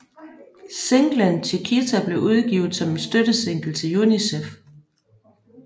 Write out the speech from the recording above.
Singlen Chiquitita blev udgivet som en støttesingle til UNICEF